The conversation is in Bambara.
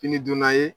Kini dunna ye